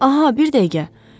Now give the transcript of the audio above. Aha, bir dəqiqə.